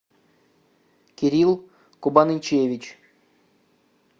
кирилл кубанычевич